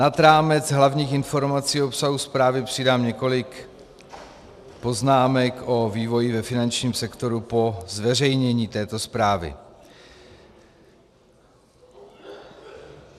Nad rámec hlavních informací o obsahu zprávy přidám několik poznámek o vývoji ve finančním sektoru po zveřejnění této zprávy.